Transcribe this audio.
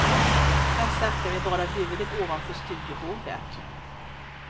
Där satt jag med bara huvudet ovanför studiobordet.